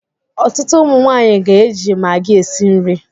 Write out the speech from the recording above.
Ọtụtụ ụmụ nwanyị ga-eji maggi esi nri.